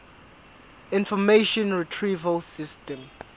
information retrieval system